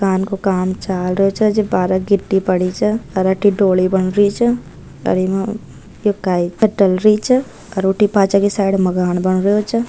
इ को काम चाल रो छे जब बारे गिटी पड़ी जे अठे डोली बनरी जे पीछे की साइड में मकान बनरो जे।